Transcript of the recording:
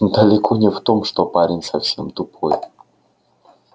далеко не в том что парень совсем тупой